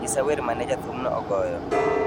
Nyisa wer mane jathumno ogoyo